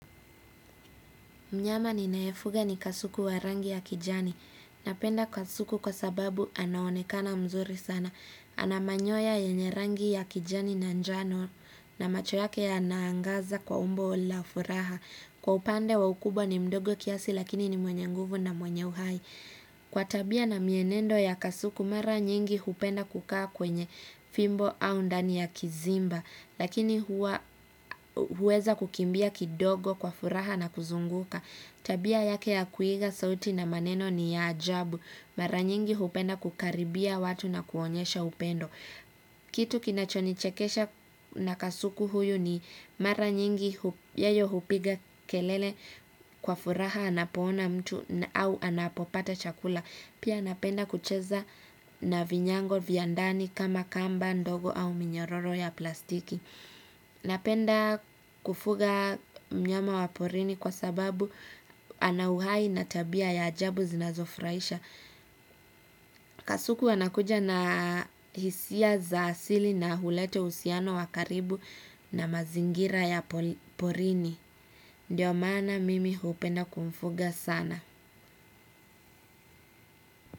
Mnyama ninaefuga ni kasuku wa rangi ya kijani. Napenda kasuku kwa sababu anaonekana mzuri sana. Ana manyoya yenye rangi ya kijani na njano na macho yake ya naangaza kwa umbo la furaha. Kwa upande wa ukubwa ni mdogo kiasi lakini ni mwenye nguvu na mwenye uhai. Kwa tabia na mienendo ya kasuku mara nyingi hupenda kukaa kwenye fimbo au ndani ya kizimba lakini huweza kukimbia kidogo kwa furaha na kuzunguka. Tabia yake ya kuiga sauti na maneno ni ya ajabu. Mara nyingi hupenda kukaribia watu na kuonyesha upendo kitu kinachonichekesha na kasuku huyu ni mara nyingi yeye hupiga kelele kwa furaha anapoona mtu au anapopata chakula. Pia napenda kucheza na vinyago vya ndani kama kamba ndogo au minyororo ya plastiki napenda kufuga mnyama wa porini kwa sababu ana uhai na tabia ya ajabu zinazofurahisha. Kasuku wanakuja na hisia za asili na huleta uhusiano wa karibu na mazingira ya porini ndiyo mana mimi hupenda kumfuga sana.